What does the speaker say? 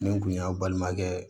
Nin kun ye n balimakɛ